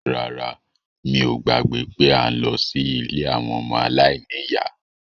Rárá, mi ò gbàgbé pé à ń lọ sí ilé àwọn ọmọ aláìníyá